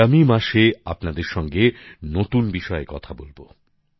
আগামী মাসে আপনাদের সঙ্গে নতুন বিষয়ে কথা বলবো